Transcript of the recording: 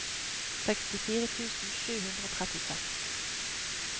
sekstifire tusen sju hundre og trettiseks